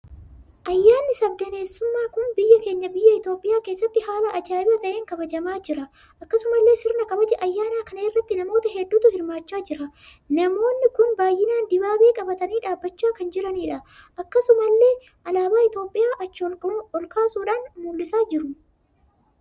Ayyaanni sabdaneessummaa kun biyyaa keenya biyya Itoophiyaa keessatti haala ajaa'ibaa ta'een kabajamaa jira. Akkasumallee sirna kabaja ayyaana kana irratti namoota hedduutu hirmaachaa jira. Namoonni kun baay'inaan dibaabee qabatanii dhaabbachaa kan jiranidha. Akkasumallee alaabaa Itoophiyaa achi ol kaasuun mul'isaa jiruum!